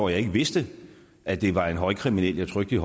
jeg ikke vidste at det var en højkriminel jeg trykkede